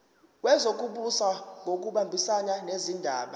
wezokubusa ngokubambisana nezindaba